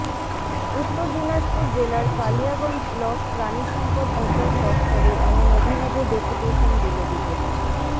উত্তর দিনাজপুর জেলার কালিয়াগঞ্জ ব্লক প্রাণীসম্পদ বিকাশ দফতরে এমন অভিনব ডেপুটেশন দিল বিজেপি